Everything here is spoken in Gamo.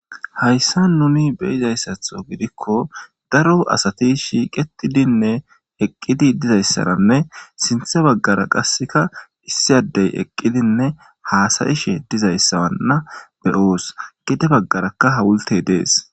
Hayssa nuni beyizayssatho gidikko daro asati shiqetidinne heqqidi dizayssaranne sinthe baggara qasseka hissiyadey eqqidinne haasayishe dizayssawanna beyoos gide baggarakka hawulte dees